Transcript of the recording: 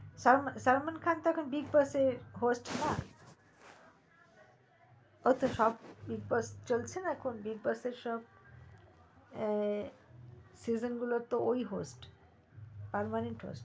সালমান খান তো এখন big boss এর host না ও তো সব করছে চলছে না এখন big boss এরসব season গুলোর ও host ও সালমানই host